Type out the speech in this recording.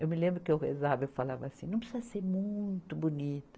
Eu me lembro que eu rezava eu falava assim, não precisa ser muito bonita.